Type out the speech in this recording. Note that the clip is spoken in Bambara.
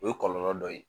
O ye kɔlɔlɔ dɔ ye